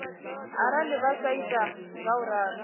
arali vha sa ita ngauralo